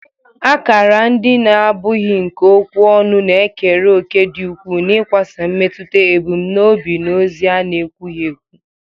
Akara ndị na-abụghị nke okwu ọnụ na-ekere òkè dị ukwuu n'ịkwasa mmetụta, ebumnobi, na ozi a na-ekwughị ekwu